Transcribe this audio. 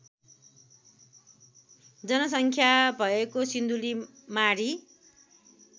जनसङ्ख्या भएको सिन्धुलीमाढी